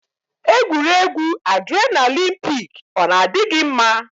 Egwuregwu adrenalin pik ọ na-adị gị mma?